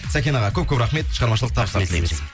сәкен аға көп көп рахмет шығармашылық табыстар тілейміз